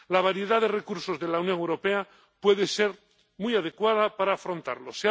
La variedad de recursos de la Unión Europea puede ser muy adecuada para afrontarlos.